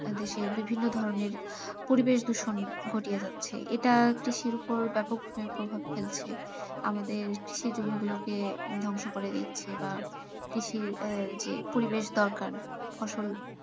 দেশের বিভিন্ন ধরনের পরিবেষ দূষণ ঘটিয়ে যাচ্ছে এটা কৃষির ওপর ব্যাপকভাবে প্রভাব ফেলছে আমাদের কৃষি জমি গুলো কে ধ্বংস করে দিচ্ছে বা কৃষির যে পরিবেষ দরকার ফসল,